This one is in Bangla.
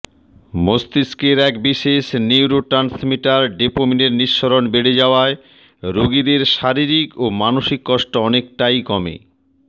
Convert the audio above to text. মস্তিষ্কের এক বিশেষ নিউরোট্রান্সমিটার ডোপামিনের নিঃসরণ বেড়ে যাওয়ায় রোগীদের শারীরিক ও মানসিক কষ্ট অনেকটাই কমে